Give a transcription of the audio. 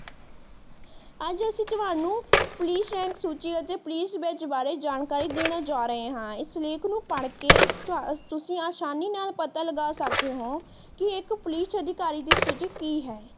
ਅੱਜ ਅਸੀਂ ਤੁਹਾਨੂੰ ਪੁਲਿਸ ਰੰਕ ਸੂਚੀ ਅਤੇ ਪੁਲਿਸ ਬੈਚ ਬਾਰੇ ਜਾਣਕਾਰੀ ਦੇਣ ਜਾ ਰਹੇ ਹਾਂ। ਇਸ ਲੇਖ ਨੂੰ ਪੜ ਕੇ ਤੁਸੀਂ ਆਸਾਨੀ ਨਾਲ ਪਤਾ ਲਗਾ ਸਕਦੇ ਹੋ ਕਿ ਇੱਕ ਪੁਲਿਸ ਅਧਿਕਾਰੀ ਦੀ ਸਥਿਤੀ ਕਿ ਹੈ।